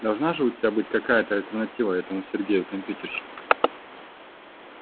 должна же у тебя быть какая-то альтернатива этому сергею компьютерщику